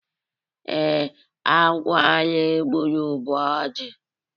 ee, agwọ anyi gburu bu oji